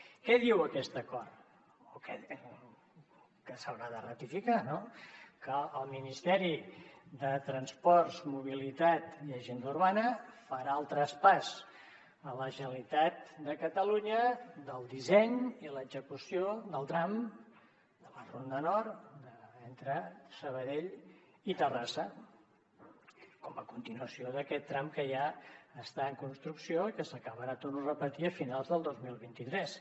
què diu aquest acord que s’haurà de ratificar no que el ministeri de transports mobilitat i agenda urbana farà el traspàs a la generalitat de catalunya del disseny i l’execució del tram de la ronda nord entre sabadell i terrassa com a continuació d’aquest tram que ja està en construcció i que s’acabarà ho torno a repetir a finals del dos mil vint tres